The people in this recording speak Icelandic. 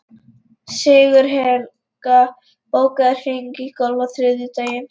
Sigurhelga, bókaðu hring í golf á þriðjudaginn.